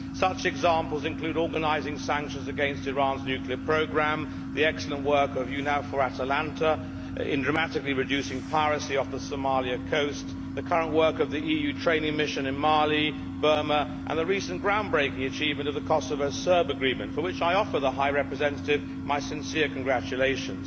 Such examples include organising sanctions against Iran's nuclear programme, the excellent work of EUNAVFOR ATALANTA in dramatically reducing piracy off the Somalia coast, the current work of the EU training mission in Mali and Burma and the recent groundbreaking achievement of the Kosovo Serb agreement, for which I offer the Vice President High Representative my sincere congratulations.